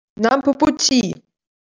нам по пути